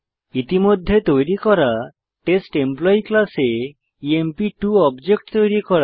ইতিমধ্যে তৈরি করা টেস্ট এমপ্লয়ী ক্লাসে ইএমপি2 অবজেক্ট তৈরী করা